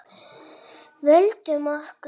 Vöndum okkur.